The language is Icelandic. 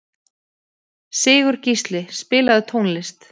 Sigurgísli, spilaðu tónlist.